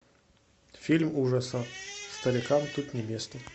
фильм ужасов старикам тут не место